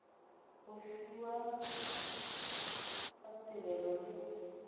go fiwa ga tirelo le